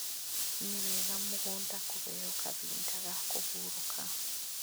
Nĩ wega mũgũnda kũheo kahinda ga kũhurũka